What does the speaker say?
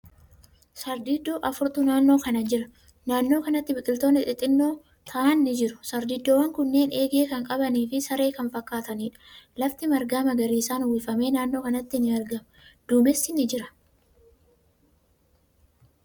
Sardiidoo afurtu naannoo kana jira. Naannoo kanatti biqiltootni xixiqqoo ta'an ni jiru. Sardiidoowwan kunneen eegee kan qabanii fi saree kan fakkaataniidha. Lafti marga magariisan uwwifame naannoo kanatti ni argama. Duumessi ni jira.